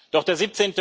Doch der